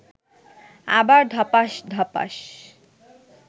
আবার ধপাস্ ধপাস্